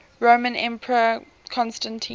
roman emperor constantine